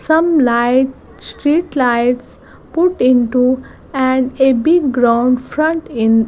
some light street lights put into and a big ground front in --